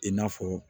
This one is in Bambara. I n'a fɔ